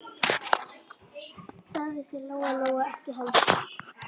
Það vissi Lóa-Lóa ekki heldur.